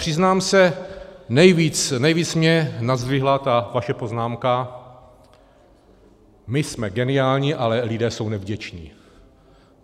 Přiznám se, nejvíce mě nazdvihla ta vaše poznámka - my jsme geniální, ale lidé jsou nevděční.